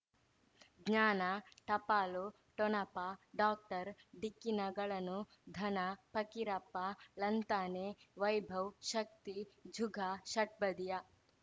ಜ್ಞಾನ ಟಪಾಲು ಠೊಣಪ ಡಾಕ್ಟರ್ ಢಿಕ್ಕಿ ಣಗಳನು ಧನ ಫಕೀರಪ್ಪ ಳಂತಾನೆ ವೈಭವ್ ಶಕ್ತಿ ಝುಗಾ ಷಟ್ಪದಿಯ